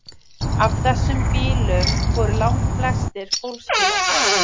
af þessum bílum voru langflestir fólksbílar